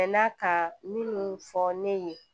N'a ka minnu fɔ ne ye